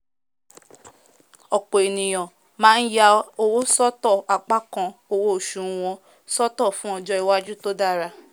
ọ̀pọ̀ ènìyàn máá ya owó sọ́tọ̀ apá kan owó osù wọn sọ́tọ̀ fún ọjọ́ iwájú tó dára